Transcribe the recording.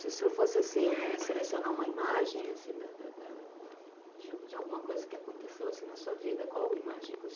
Se o senhor fosse selecionar uma imagem de alguma coisa que aconteceu na sua vida, qual imagem que osenhor